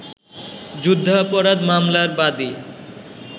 যুদ্ধাপরাধ মামলার বাদী